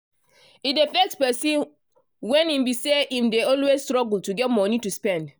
e dey vex person when e be say im dey always struggle to get monie to spend.